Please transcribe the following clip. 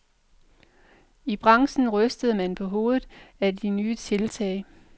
I branchen rystede man på hovedet af det nye tiltag.